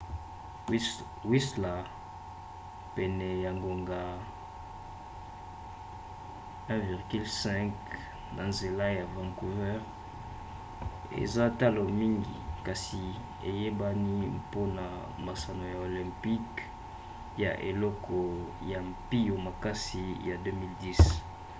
whistler pene ya ngonga 1,5 na nzela ya vancouver eza talo mingi kasi eyebani mpona masano ya olympique ya eleko ya mpio makasi ya 2010